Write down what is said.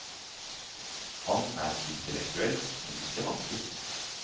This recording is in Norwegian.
Han er intellektuell, men ikke vanskelig.